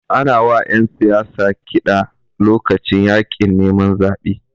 Ana wa ƴan siyasa kiɗa lokacin yaƙin neman zabe.